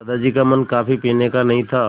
दादाजी का मन कॉफ़ी पीने का नहीं था